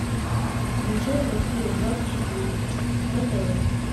включай россия двадцать четыре на тв